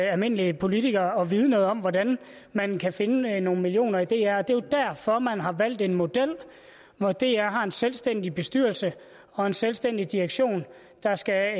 almindelige politikere at vide noget om hvordan man kan finde nogle millioner kroner i dr det er jo derfor man har valgt en model hvor dr har en selvstændig bestyrelse og en selvstændig direktion der skal